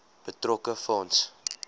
betrokke fonds